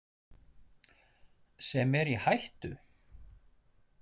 Sem er í hættu?